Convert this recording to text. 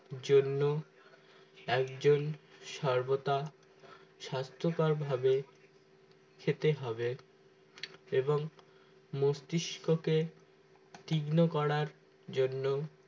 জন্য একজন সর্বদা স্বাস্থ্যকর ভাবে খেতে হবে এবং মস্তিষ্ককে তীক্ষ্ণ করার জন্য